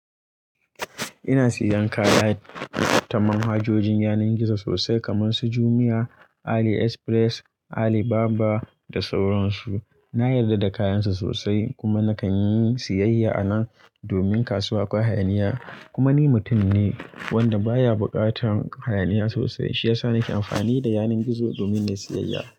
Ina siyan kaya ta manhajojin yanan gizo sosai kaman su Jumia, Ali Express, Ali Baba da sauran su. Na yadda da kayan su sosai kuma nakan yi siyayya anan domin kasuwa akwai hayaniya. Kuma ni mutum ne wanda baya buƙatan hayaniya sosai shiyasa nake amfani da yanan gizo domin yin siyayya.